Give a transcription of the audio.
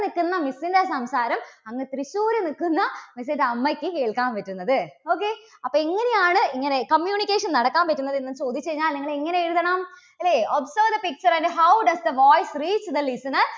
നിൽക്കുന്ന miss ന്റെ സംസാരം അങ്ങ് തൃശ്ശൂര് നിൽക്കുന്ന miss ന്റെ അമ്മയ്ക്ക് കേൾക്കാൻ പറ്റുന്നത്. okay അപ്പോ എങ്ങനെയാണ് ഇങ്ങനെ communication നടക്കാൻ പറ്റുന്നത് എന്ന് ചോദിച്ചു കഴിഞ്ഞാൽ നിങ്ങള് എങ്ങനെ എഴുതണം അല്ലേ observe the picture and how does the voice reach the listener